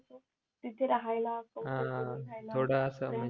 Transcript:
तिथे राह्यला हा थोडं असं